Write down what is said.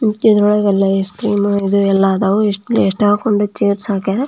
ಇದ್ರೊಳಗೆ ಐಸ್ಕ್ರೀಮ್ ಇದು ಎಲ್ಲ ಇದಾವು ಎಷ್ಟೊಂದು ಚೈರ್ಸ್ ಹಾಕಾರ.